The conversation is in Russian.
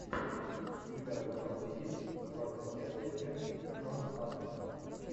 у тебя в запасе есть двадцать пятая часть джона адамса